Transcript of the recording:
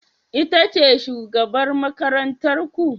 Ita ce shugabar makarantar ku?